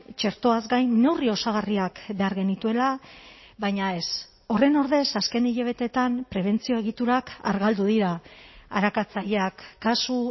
txertoaz gain neurri osagarriak behar genituela baina ez horren ordez azken hilabeteetan prebentzio egiturak argaldu dira arakatzaileak kasu